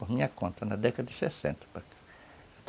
Por minha conta, na década de sessenta